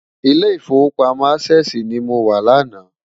Ilé Ifówópámò Ásèsi ni mó wá làná